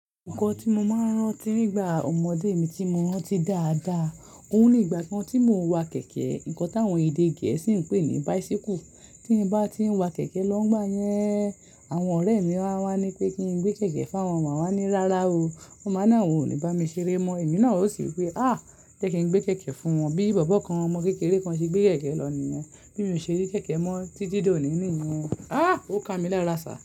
Nǹkan tí mo máa ń rántí nígbà ọmọdé mi tí mo rántí dáadáa, òun ní ìgbà kan tí mò ń wa kẹ̀kẹ́, nǹkan táwọn èdè Gẹ̀ẹ́sì ń pè ní bicycle. Tí mo bá ti ń wa kẹ̀kẹ́ lọ́gbà yẹn, àwọn ọ̀rẹ́ mi máa wá ní pé kí n gbé kẹ̀kẹ́ fún wọn, màá wá ní "Rárá o." Wọ́n máa ni awòn ó ní bá mi ṣeré mọ́, èmi náà ó sì wí pé "Àá! Jẹ́ kí n gbé kẹ̀kẹ́ fún wọn." Bí bọ̀bọ́ kan, ọmọ kékeré kan ṣe gbé kẹ̀kẹ́ lọ nìyẹn. Bí mo ṣe rí kẹ̀kẹ́ mọ́ títí dòní nìyẹn. Àá! Ó ka mi lára sà.